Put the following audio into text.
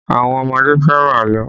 Àwọn ọmọdé fẹ́ràn àlọ́